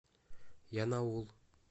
янаул